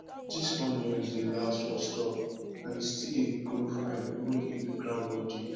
this onion dey last for store and e still dey grow fine even if the ground no deep